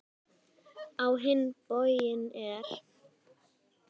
Á hinn bóginn er